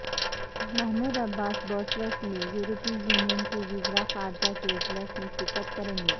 Mahmood Abbas Brussels میں یورپی union کے وزراء خارجہ کے اجلاس میں شرکت کریں گے